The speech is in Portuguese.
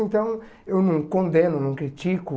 Então, eu não condeno, não critico.